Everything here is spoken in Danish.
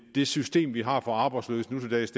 det system vi har for arbejdsløse nutildags